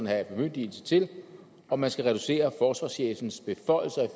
have bemyndigelse til og man skal reducere forsvarschefens beføjelser i